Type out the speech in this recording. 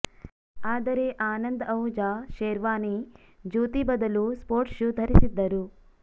ಆದರೆ ಆನಂದ್ ಅಹುಜಾ ಶೆರ್ವಾನಿ ಜೂತಿ ಬದಲು sports shoe ಧರಿಸಿದ್ದರು